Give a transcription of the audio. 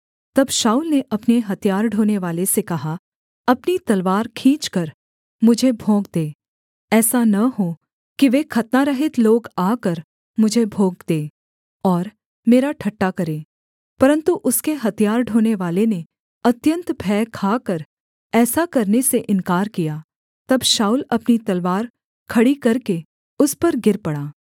तब शाऊल ने अपने हथियार ढोनेवाले से कहा अपनी तलवार खींचकर मुझे भोंक दे ऐसा न हो कि वे खतनारहित लोग आकर मुझे भोंक दें और मेरा ठट्टा करें परन्तु उसके हथियार ढोनेवाले ने अत्यन्त भय खाकर ऐसा करने से इन्कार किया तब शाऊल अपनी तलवार खड़ी करके उस पर गिर पड़ा